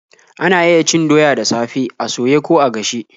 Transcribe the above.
Ana iya cin doya a dafe, a soye, ko a gashe.